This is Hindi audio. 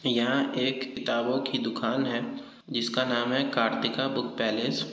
यहाँ एक किताबों की दुकान है जिसका नाम है कार्तिका बुक पैलेस ।